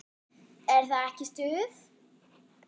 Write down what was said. Er það ekki stuð?